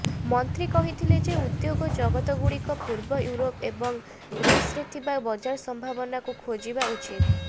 ମନ୍ତ୍ରୀ କହିଥିଲେ ଯେ ଉଦ୍ୟୋଗ ଜଗତଗୁଡ଼ିକୁ ପୂର୍ବ ୟୁରୋପ ଏବଂ ରୁଷରେ ଥିବା ବଜାର ସମ୍ଭାବନାକୁ ଖୋଜିବା ଉଚିତ